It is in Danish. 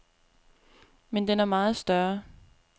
Men den er meget større.